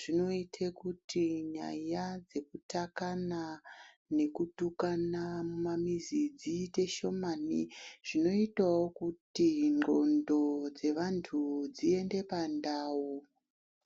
zvinoite kuti nyaya dzekutakana nekutukana mumamizi dziite shomani. Zvinotavo kuti ndxondo dzevantu dziende pandau.